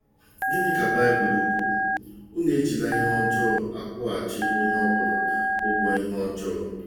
Gịnị ka Baịbụl kwuru? “Unu ejila ihe ọjọọ akwụghachi onye ọ bụla ụgwọ ihe ọjọọ.......